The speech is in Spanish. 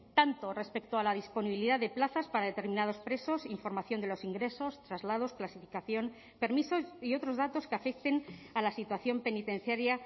tanto respecto a la disponibilidad de plazas para determinados presos información de los ingresos traslados clasificación permisos y otros datos que afecten a la situación penitenciaria